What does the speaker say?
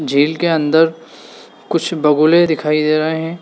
झील के अंदर कुछ बगुले दिखाई दे रहे हैं।